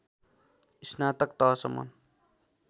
स्नातक तहसम्म